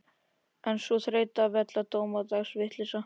En sú þreytandi vella og dómadags vitleysa.